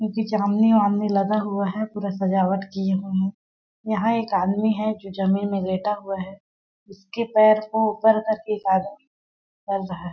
उजी जामनी वमनी लगा हुआ है पूरा सजावट किये हुए है यहाँ एक आदमी है जो जमीन में लेटा हुआ है उसके पैर को ऊपर करके कर रहा है |